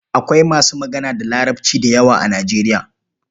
Akwai masu magana da Larabci da yawa a Nijeriya.